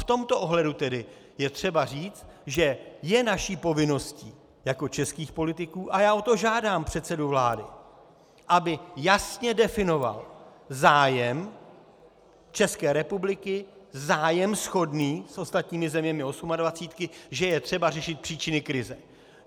V tomto ohledu tedy je třeba říct, že je naší povinností jako českých politiků, a já o to žádám předsedu vlády, aby jasně definoval zájem České republiky, zájem shodný s ostatními zeměmi osmadvacítky, že je třeba řešit příčiny krize.